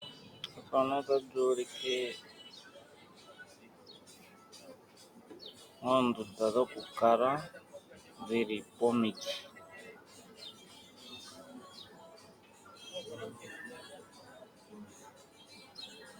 Ethano ota li ulike oondunda dhokukala dhili pomiti.